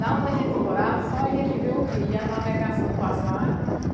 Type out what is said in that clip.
Lá onde a gente morava, só a gente vê o rio e a navegação passar.